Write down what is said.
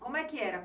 Como é que era?